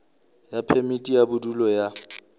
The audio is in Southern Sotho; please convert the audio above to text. ya phemiti ya bodulo ya